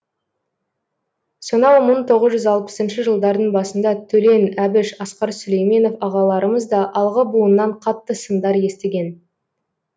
сонау мың тоғыз жүз алпысыншы жылдардың басында төлен әбіш асқар сүлейменов ағаларымыз да алғы буыннан қатты сындар естіген